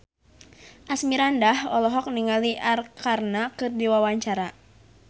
Asmirandah olohok ningali Arkarna keur diwawancara